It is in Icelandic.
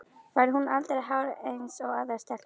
Fær hún aldrei hár eins og aðrar stelpur?